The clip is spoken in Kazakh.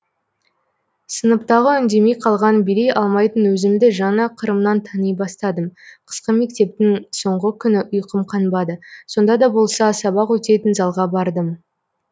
сыныптағы үндемей қалған билей алмайтын өзімді жаңа қырымнан тани бастадым қысқы мектептің соңғы күні ұйқым қанбады сонда да болса сабақ өтетін залға бардым